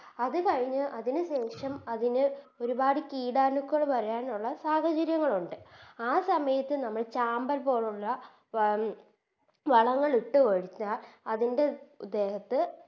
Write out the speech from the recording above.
അത് കഴിഞ്ഞ് അതിന് ശേഷം അതിന് ഒരുപാട് കീടാണുക്കൾ വരാനുള്ള സാഹചര്യങ്ങളൊണ്ട് ആ സമയത്ത് നമ്മൾ Champer പോലുള്ള വം വളങ്ങളിട്ടുകൊടുത്താൽ അതിൻറെ ദേഹത്ത്